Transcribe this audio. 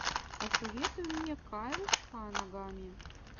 посоветуй мне кайл ханагами